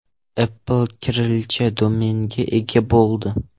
Apple kirillcha domenga ega bo‘ldi.